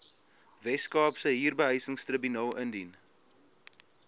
weskaapse huurbehuisingstribunaal indien